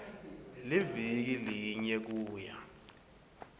liviki linye kuya